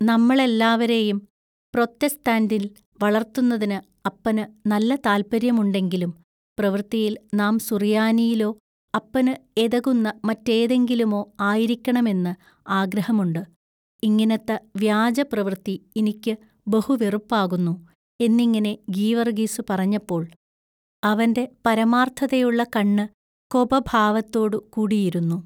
“നമ്മളെല്ലാവരെയും പ്രൊത്തെസ്താന്തിൽ വളൎത്തുന്നതിനു അപ്പനു നല്ല താല്പൎയ്യമുണ്ടെങ്കിലും പ്രവൃത്തിയിൽ നാം സുറിയാനിയിലൊ അപ്പനു എതകുന്ന മറ്റേതിങ്കിലുമൊ ആയിരിക്കണമെന്ന് ആഗ്രഹമുണ്ട് ഇങ്ങിനത്ത വ്യാജ പ്രവൃത്തി ഇനിക്കു ബഹു വെറുപ്പാകുന്നു” എന്നിങ്ങിനെ ഗീവറുഗിസു പറഞ്ഞപ്പോൾ അവന്റെ പരമാൎത്ഥതയുള്ള കണ്ണു കൊപഭാവത്തോടു കൂടിയിരുന്നു.